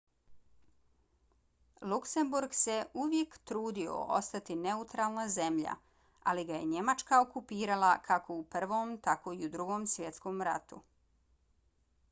luksemburg se uvijek trudio ostati neutralna zemlja ali ga je njemačka okupirala kako u prvom tako i u drugom svjetskom ratu